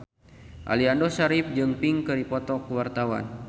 Aliando Syarif jeung Pink keur dipoto ku wartawan